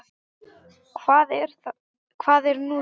Hvað er nú það?